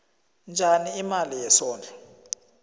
njani imali yesondlo